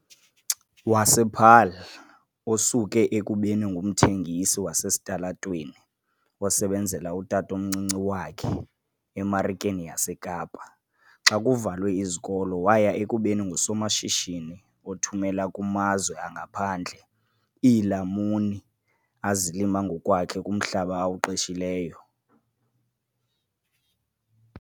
wasePaarl, osuke ekubeni ngumthengisi wasesitalatweni osebenzela utatomncinci wakhe eMarikeni yaseKapa xa kuvalwe izikolo waya ekubeni ngusomashishini othumela kumazwe angaphandle iilamuni azilima ngokwakhe kumhlaba awuqeshileyo.